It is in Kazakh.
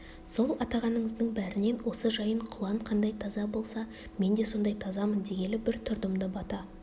сол атағаныңыздың бәрінен осы жайын құлан қандай таза болса мен де сондай тазамын дегелі бір тұрдым да бата